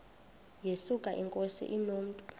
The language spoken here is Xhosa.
yesuka inkosi inomntu